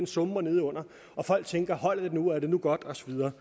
summer nedenunder og folk tænker holder det nu er det nu godt og så videre